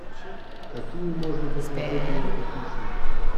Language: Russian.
какие можно посмотреть ленту хищник